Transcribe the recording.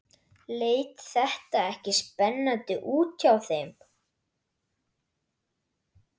Leit þetta ekki spennandi út hjá þeim?